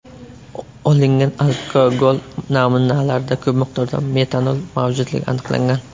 Olingan alkogol namunalarida ko‘p miqdorda metanol mavjudligi aniqlangan.